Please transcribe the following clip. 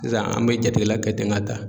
Sisan an bɛ jatigila kɛela kɛ ten ka taa.